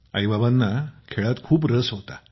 mummy papa यांना खेळात खूप रस होता